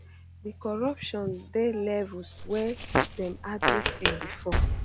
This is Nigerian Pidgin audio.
di corruption dey levels wey dem hardly see before